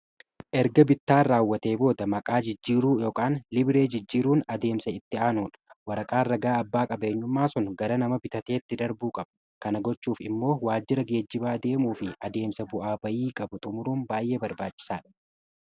erga bittaan raawwatee booda maqaa jijjiiruu yookaan libiree jijjiiruun adeemsa itti aanuudha waraqaa ragaa abbaa qabeenyummaa sun gara nama bitateetti darbuu qabu kana gochuuf immoo waajira geejjibaa deemuu fi adeemsa bu'aa bayii qabu xumuruun baay'ee barbaachisaa dha